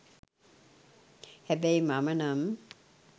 හැබැයි මම නම්